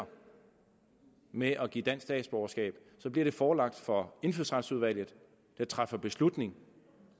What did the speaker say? med at give dansk statsborgerskab så bliver det forelagt for indfødsretsudvalget der træffer beslutning